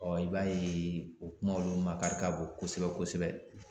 i b'a ye o kuma olu makari ka bon kosɛbɛ kosɛbɛ